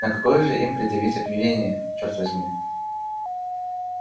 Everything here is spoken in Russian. но какое же им предъявить обвинение черт возьми